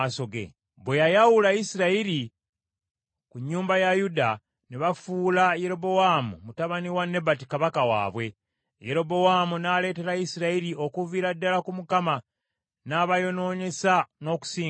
Bwe yayawula Isirayiri ku nnyumba ya Dawudi, ne bafuula Yerobowaamu mutabani wa Nebati kabaka waabwe. Yerobowaamu n’aleetera Isirayiri okuviira ddala ku mukama, n’abayonoonyesa n’okusingawo.